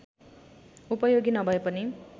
उपयोगी नभएपनि